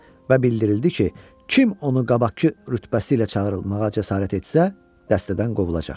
Və bildirildi ki, kim onu qabaqkı rütbəsi ilə çağırılmağa cəsarət etsə, dəstədən qovulacaq.